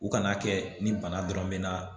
U kana kɛ ni bana dɔrɔn mɛna